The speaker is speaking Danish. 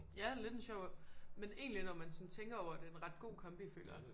Ja lidt en sjov men egentlig når man sådan tænker over det en ret godt kombi føler jeg